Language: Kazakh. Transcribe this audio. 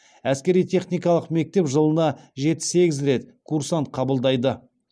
әскери техникалық мектеп жылына жеті сегіз рет курсант қабылдайды